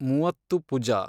Muvattupuzha